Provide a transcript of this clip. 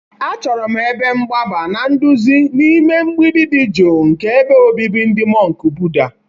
Achọrọ m ebe mgbaba na nduzi n'ime mgbidi dị jụụ nke ebe obibi ndị mọnk Buddha.